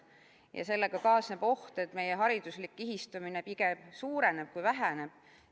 Ja sellega kaasneb oht, et meie hariduslik kihistumine pigem suureneb kui väheneb.